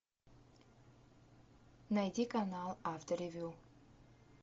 найди канал авторевю